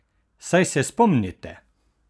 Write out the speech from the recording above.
Saj se spomnite?